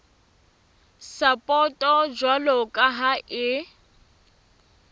sapoto jwalo ka ha e